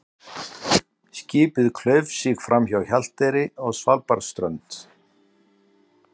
Skipið klauf sig framhjá Hjalteyri og Svalbarðsströnd.